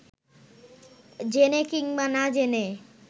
জেনে কিংবা না জেনে